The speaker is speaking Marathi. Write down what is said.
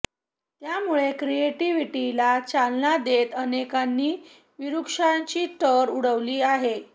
त्यामुळे क्रिएटीव्हिटीला चालना देत अनेकांनी विरूष्काची टर उडवली आहे